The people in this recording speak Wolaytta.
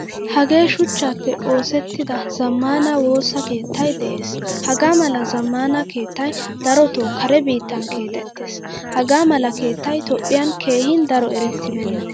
Hagee suchchappe oosettida zammaana woosa keettay de'ees. Hagaamala zammaana keettay daroto kare bitan keexetees. Hagaamala keettay toophphiyan keehin daro erettibena.